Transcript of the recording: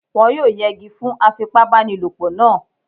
Wọ́n yóò yẹgi fún afipábanílòpọ̀ náà